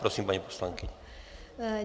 Prosím, paní poslankyně.